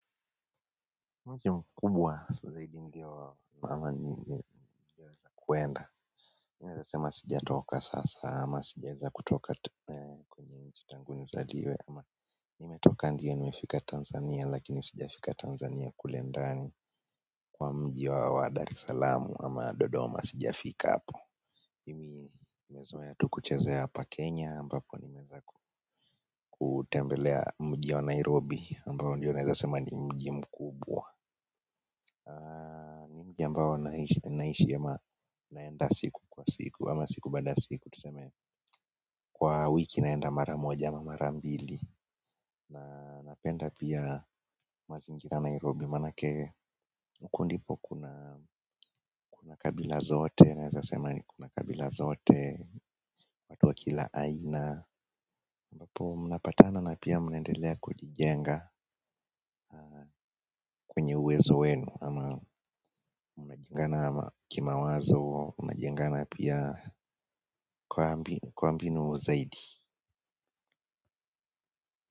Mji mkubwa zaidi ndio mama ni kuenda mi naeza sema sijatoka sasa ama sijaeza kutoka kwenye nchi tangu nizaliwe ama nimetoka ndio nimefika Tanzania lakini sijafika Tanzania kule ndani kwa mji wa Dar es salam ama Dodoma sijafika hapo mimi nimezoea tu kuchezea hapa Kenya ambapo nimeweza ku kutembelea mji wa Nairobi ambao ndio naeza sema ni mji mkubwa mji ambao naishi ama naenda siku kwa siku ama siku baada ya siku tuseme kwa wiki naenda mara moja ama mara mbili na napenda pia mazingira ya Nairobi manake huku ndipo kuna kabila zote naeza sema kuna kabila zote wa kila aina ambapo mnapatana na pia mnaendelea kujijenga kwenye uwezo wenu ama mnajengana kimawazo mnajengana pia kwa mbinu zaidi.